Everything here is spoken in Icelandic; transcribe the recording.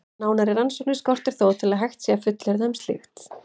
Nánari rannsóknir skortir þó til að hægt sé að fullyrða um slíkt.